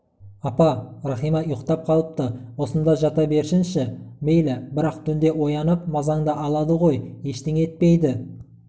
апа рахима ұйықтап қалыпты осында жата берсінші мейлі бірақ түнде оянып мазаңды алады ғой ештеңе етпейді